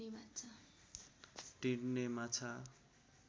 डिँड्ने माछा